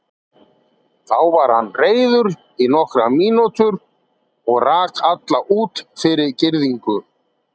Þá var hann reiður í nokkrar mínútur og rak alla út fyrir girðingu.